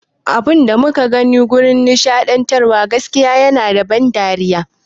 Abunda muka gani a wajan nishaɗantar gaskiya yana da ban dariya